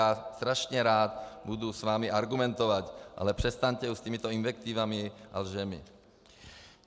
Já strašně rád budu s vámi argumentovat, ale přestaňte už s těmito invektivami a lžemi.